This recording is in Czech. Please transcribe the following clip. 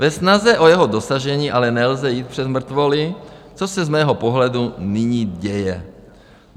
Ve snaze o jeho dosažení ale nelze jít přes mrtvoly, což se z mého pohledu nyní děje.